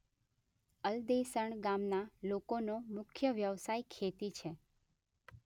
અલદેસણ ગામના લોકોનો મુખ્ય વ્યવસાય ખેતી છે.